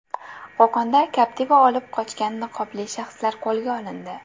Qo‘qonda Captiva olib qochgan niqobli shaxslar qo‘lga olindi.